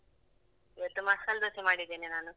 ಇವತ್ತು ಮಸಾಲ್ ದೋಸೆ ಮಾಡಿದ್ದೇನೆ ನಾನು.